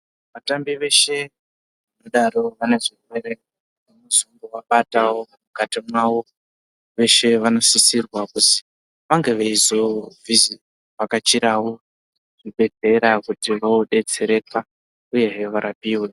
Vatambi veshe vanodaro vane zvirwere muzongo vabatawo mukati mwavo veshe vano sisirwa kuzi vange veizo vhakachirawo zvi bhedhlera kuti vo detsereka uyezve varapiwe.